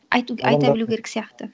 айта білу керек сияқты